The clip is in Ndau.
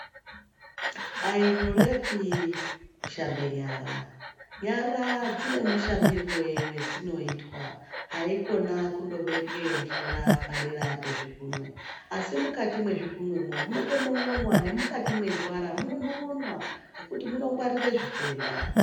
Ayi nyorepi kushamba nyara ,nyara dzine mushambirwe wadzunoitwa haikhona kungobeka mvura padera pezvikunwe asi mukati mezvikunwemo munonon'onwa ne mukati mendwara munonon'onwa nekuti munongwarire zvitenda.